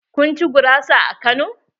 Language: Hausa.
Kun ci gurasa a Kano?